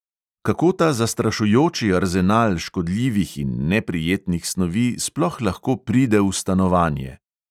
Kako ta zastrašujoči arzenal škodljivih in neprijetnih snovi sploh lahko pride v stanovanje?